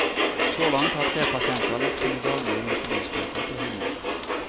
Så langt har tre pasienter lagt sine daglige insulinsprøyter på hyllen.